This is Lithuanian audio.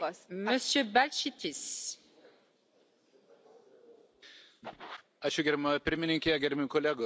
Gerbiama pirmininke, gerbiami kolegos, keletą metų teko dirbti transporto ministru ir gana gerai žinau šitą klausimą.